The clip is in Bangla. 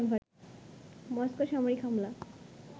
মস্কো সামরিক হামলা